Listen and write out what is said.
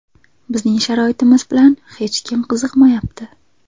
Bizning sharoitimiz bilan hech kim qiziqmayapti.